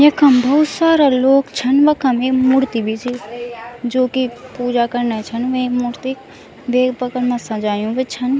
यखम बहौत सारा लोग छन वखम एक मूर्ति भी छी जोकि पूजा करने छन वे मूर्ति देव सजायूँ भी छन।